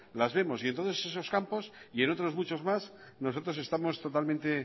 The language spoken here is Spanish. las vemos y entonces esos campos y en otros muchos más nosotros estamos totalmente